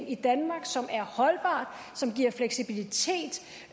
i danmark som er holdbart som giver fleksibilitet